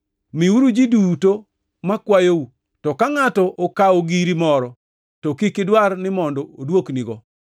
Miuru ji duto makwayou, to ka ngʼato okawo giri moro, to kik idwar ni mondo oduoknigo.